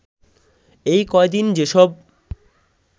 এই কয়দিন যেসব